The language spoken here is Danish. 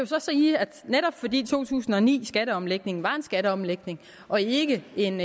så sige at netop fordi to tusind og ni skatteomlægningen var en skatteomlægning og ikke en